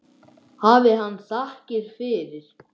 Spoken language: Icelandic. Hafi hann þakkir fyrir.